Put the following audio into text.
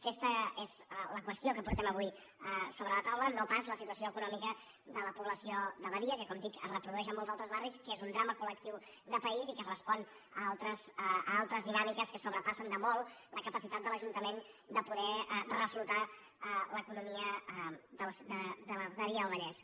aquesta és la qüestió que portem avui sobre la taula no pas la situació econòmica de la població de badia que com dic es reprodueix en molts altres barris que és un drama col·lectiu de país i que respon a altres dinàmiques que sobrepassen de molt la capacitat de l’ajuntament de poder reflotar l’economia de badia del vallès